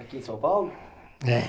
Aqui em São Paulo? É